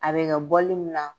A bɛ kɛ bɔli min na.